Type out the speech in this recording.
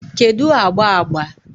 kedu agba agba?